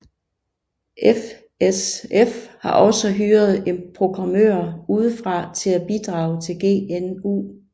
FSF har også hyret programmører udefra til at bidrage til GNU